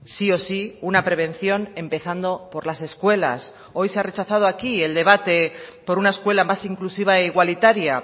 sí o sí una prevención empezando por las escuelas hoy se ha rechazado aquí el debate por una escuela más inclusiva e igualitaria